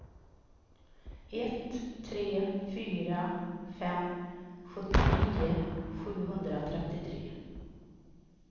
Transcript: ett tre fyra fem sjuttionio sjuhundratrettiotre